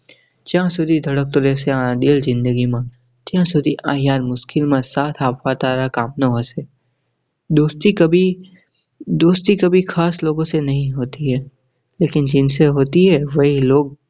જ્યાં સુધી ધડકતો રેહશે આ દિલ ઝીંદગી માં ત્યાં સુધી આ yaar મુશ્કિલ માં સાથ આપવા તારા કામ નો હશે. दोस्ती कभी दोस्ती कभी खास लोगो से नही होती है लेकिन जिनसे होती है वाही लोग